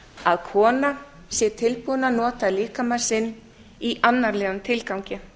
að kona sé tilbúin að nota líkama sinn í annarlegum tilgangi